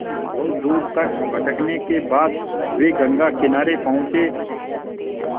बहुत दूर तक भटकने के बाद वे गंगा किनारे पहुँचे